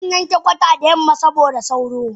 Zanwanke kwata da yamma saboda sauro.